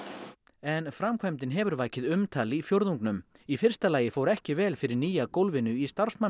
en framkvæmdin hefur vakið umtal í fjórðungnum í fyrsta lagi fór ekki vel fyrir nýja gólfinu í